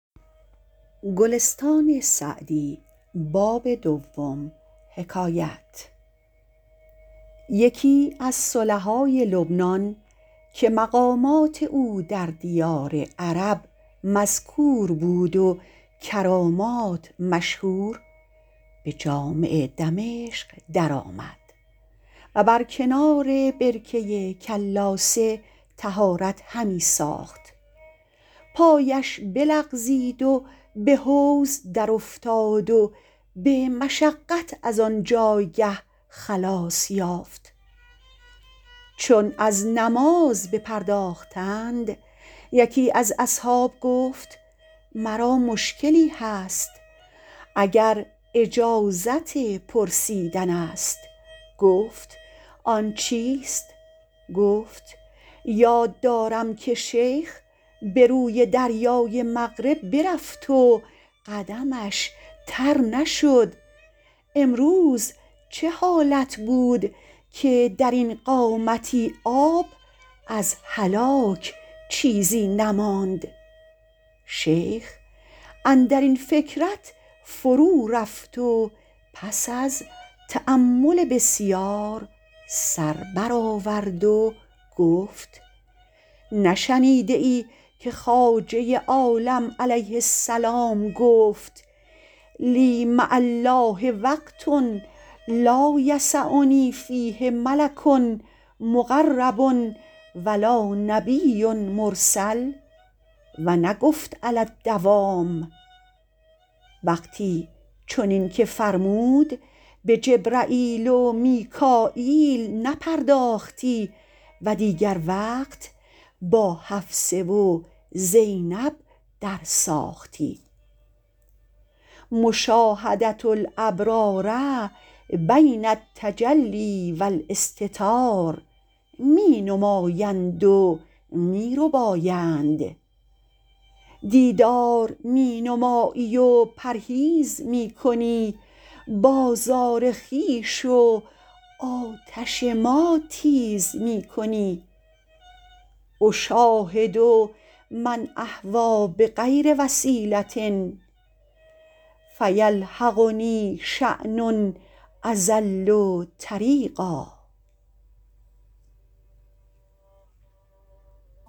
یکی از صلحای لبنان که مقامات او در دیار عرب مذکور بود و کرامات مشهور به جامع دمشق در آمد و بر کنار برکه کلاسه طهارت همی ساخت پایش بلغزید و به حوض در افتاد و به مشقت از آن جایگه خلاص یافت چون از نماز بپرداختند یکی از اصحاب گفت مرا مشکلی هست اگر اجازت پرسیدن است گفت آن چیست گفت یاد دارم که شیخ به روی دریای مغرب برفت و قدمش تر نشد امروز چه حالت بود که در این قامتی آب از هلاک چیزی نماند شیخ اندر این فکرت فرو رفت و پس از تأمل بسیار سر بر آورد و گفت نشنیده ای که خواجه عالم علیه السلام گفت لی مع الله وقت لا یسعنی فیه ملک مقرب و لا نبی مرسل و نگفت علی الدوام وقتی چنین که فرمود به جبرییل و میکاییل نپرداختی و دیگر وقت با حفصه و زینب در ساختی مشاهدة الابرار بین التجلی و الاستتار می نمایند و می ربایند دیدار می نمایی و پرهیز می کنی بازار خویش و آتش ما تیز می کنی اشاهد من اهویٰ بغیر وسیلة فیلحقنی شأن اضل طریقا